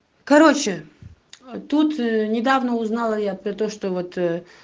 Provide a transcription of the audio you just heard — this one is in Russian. короче тут недавно узнала я про то что вот